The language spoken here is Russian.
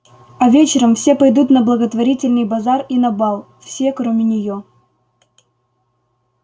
а вечером все пойдут на благотворительный базар и на бал все кроме неё